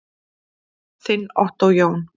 Þinn Ottó Jón.